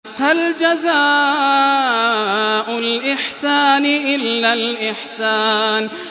هَلْ جَزَاءُ الْإِحْسَانِ إِلَّا الْإِحْسَانُ